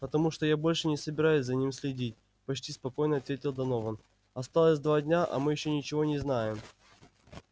потому что я больше не собираюсь за ними следить почти спокойно ответил донован осталось два дня а мы ещё ничего не знаем